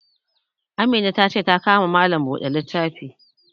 Amina ta ce ta ka ma malam buɗe littafi